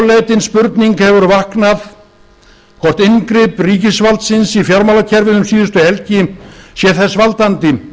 áleitin spurning hefur vaknað hvort inngrip ríkisvaldsins í fjármálakerfið um síðustu helgi sé þess valdandi